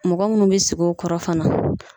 Mɔgɔ munnu be sigi o kɔrɔ fana